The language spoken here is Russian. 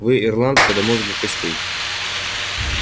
вы ирландка до мозга костей